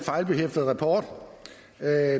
at